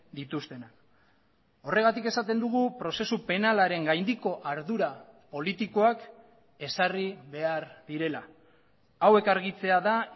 dituztenak horregatik esaten dugu prozesu penalaren gaindiko ardura politikoak ezarri behar direla hauek argitzea da